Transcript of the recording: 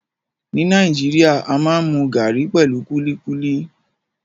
Ni Nàìjíríà, a maa n mu garri pẹlu kuli kuli